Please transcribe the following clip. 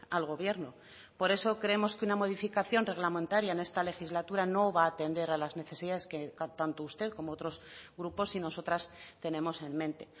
al gobierno por eso creemos que una modificación reglamentaria en esta legislatura no va a atender a las necesidades que tanto usted como otros grupos y nosotras tenemos en mente